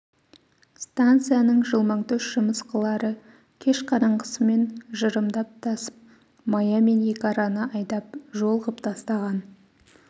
станцияның жылмаңтөс жымысқылары кеш қараңғысымен жырымдап тасып мая мен екі араны айдау жол ғып тастаған